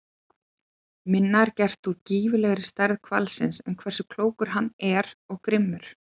Minna er gert úr gífurlegri stærð hvalsins en hversu klókur hann er og grimmur.